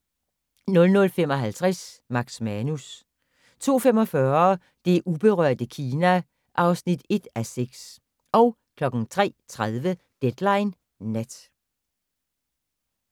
00:55: Max Manus 02:45: Det uberørte Kina (1:6) 03:30: Deadline Nat